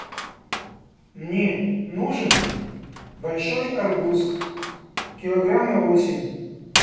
мне нужен большой арбуз килограмм на восемь